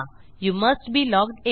you must be logged in